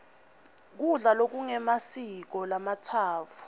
kudla lokungemasiko lamatsatfu